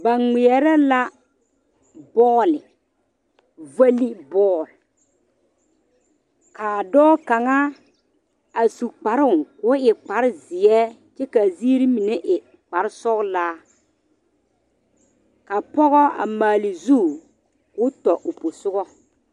Ba ŋmɛɛre la bol valiŋ bol kaa dɔɔ kaŋa a su kparo ko'o e kpare ziɛ kaa ziiri mine a e kpare sɔglaa ka pɔge a maale zu ko tɔ o posiga.